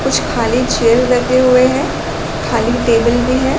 कुछ खाली चेयर लगे हुए है खाली टेबल भी हैं।